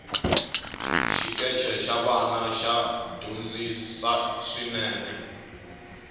xikeche xa vana xa dyondzisi swinene